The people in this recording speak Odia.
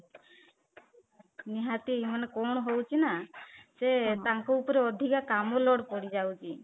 ନିହାତି ମାନେ କଣ ହଉଚି ନା ସେ ତାଙ୍କ ଉପରେ ଅଧିକା କାମ load ପଡିଯାଉଛି